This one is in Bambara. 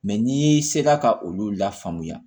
Mɛ n'i sera ka olu lafaamuya